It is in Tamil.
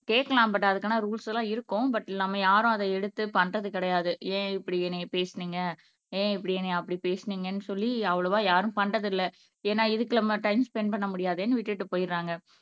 கேக்கலாம் பட் அதுக்கான ரூல்ஸ் எல்லாம் இருக்கும் பட் நம்ம யாரும் அதை எடுத்து பண்றது கிடையாது ஏன் இப்படி என்னைய பேசுனீங்க ஏன் இப்படி என்னைய அப்படி பேசுனீங்கன்னு சொல்லி அவ்வளவா யாரும் பண்றதில்லை ஏன்னா இதுக்கு நம்ம டைம் ஸ்பென்ட் பண்ண முடியாதேன்னு விட்டுட்டு போயிடுறாங்க